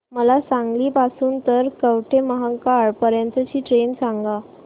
मला सांगली पासून तर कवठेमहांकाळ पर्यंत ची ट्रेन सांगा